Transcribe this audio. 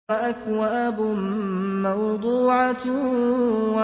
وَأَكْوَابٌ مَّوْضُوعَةٌ